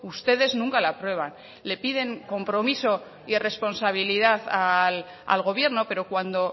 ustedes nunca la aprueban le piden compromiso y responsabilidad al gobierno pero cuando